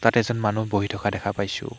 তাত এজন মানুহ বহি থকা দেখা পাইছোঁ।